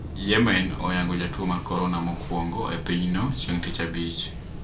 Yemen oyango jatuo mar korona mokuongo e pinyno chieng` tich Abich